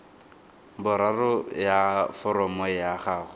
boraro ya foromo ya gago